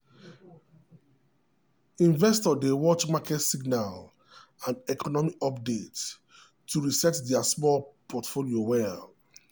investor dey watch market signal and economy update to reset their small portfolio well.